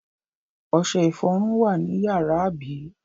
Ọṣẹ-ìfọrun wà ní ìyàrá, àbí?